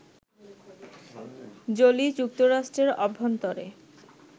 Jolie, যুক্তরাষ্ট্রের অভ্যন্তরে